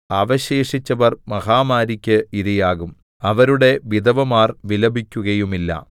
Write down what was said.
അവശേഷിച്ചവർ മഹാമാരിയ്ക്ക് ഇര ആകും അവരുടെ വിധവമാർ വിലപിക്കുകയുമില്ല